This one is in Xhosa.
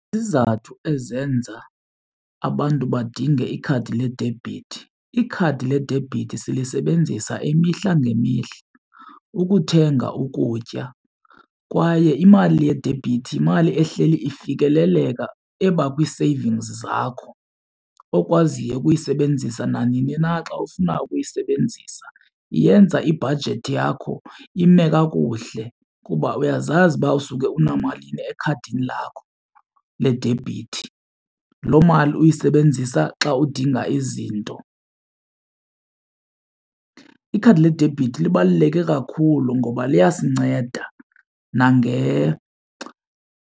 Izizathu ezenza abantu badinge ikhadi ledebhithi. Ikhadi ledebhithi silisebenzisa imihla ngemihla ukuthenga ukutya kwaye imali yedebhithi yimali ehleli ifikeleleka eba kwi-savings zakho okwaziyo ukuyisebenzisa nanini na xa ufuna ukuyisebenzisa. Iyenza ibhajethi yakho ime kakuhle kuba uyazazi uba usuke unamalini ekhadini lakho ledebhithi, loo mali uyisebenzisa xa udinga izinto. Ikhadi ledebhithi libaluleke kakhulu ngoba liyasinceda .